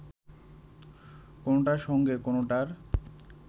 কোনোটার সঙ্গে কোনোটার